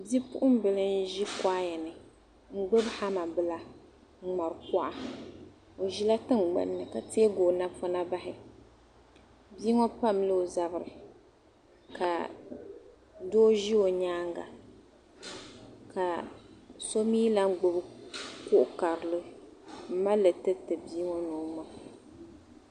Bipuɣimbila n-ʒi kuaya ni n-gbibi hama bila n-ŋmari kuɣa. O ʒila tiŋgbani ni ka teegi o napɔna bahi. Bia ŋɔ pamla o zabiri ka doo ʒi o nyaaŋga ka so mi lahi gbibi kuɣ' karili m-mali li tiriti bia ŋɔ ni o ŋma.